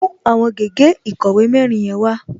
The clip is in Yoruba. Mú àwọn gègé ìkọ̀wé mẹ́rin yẹn wá!